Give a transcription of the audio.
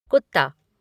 कुत्ता